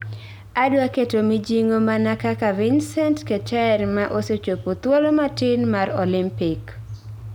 Adwa keto mijing'o mana kaka Vincent Keter ma osechopo thuolo matin mar Olympic